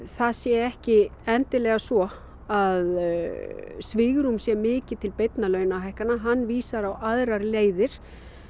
það sé ekki endilega svo að svigrúm sé mikið til beinna launahækkana hann vísar á aðrar leiðir